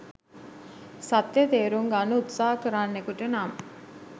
සත්‍ය තේරුම් ගන්න උත්සහ කරන්නෙකුට නම්